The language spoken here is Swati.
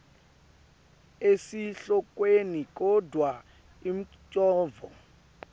esihlokweni kodvwa umcondvo